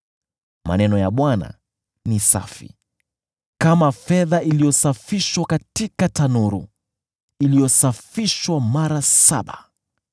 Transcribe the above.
Maneno ya Bwana ni safi, kama fedha iliyosafishwa katika tanuru, iliyosafishwa mara saba.